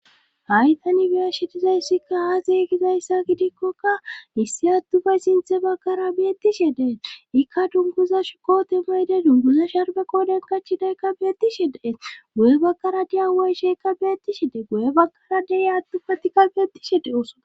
Haytani biya shidizayssikka haazey gizayssa gidikkokka issi attufay sinthe bakkara beettishe dee ikka dunguza shuko temayde dunguza sharbe kooden kachidaykka beettishe dee guye bakkara diya way sheeka beetti she de goye bakkara dee attupatika beettishe de oso.